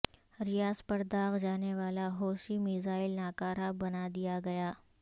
ریاض پر داغا جانے والا حوثی میزائل ناکارہ بنادیا گیا